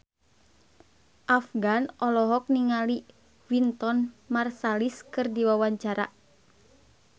Afgan olohok ningali Wynton Marsalis keur diwawancara